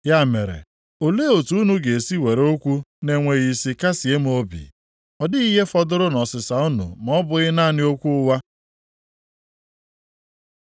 “Ya mere, olee otu unu ga-esi were okwu na-enweghị isi kasịe m obi? Ọ dịghị ihe fọdụrụ nʼọsịịsa unu ma ọ bụghị naanị okwu ụgha.”